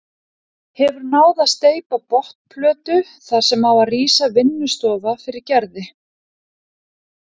Hefur náð að steypa botnplötu þar sem á að rísa vinnustofa fyrir Gerði.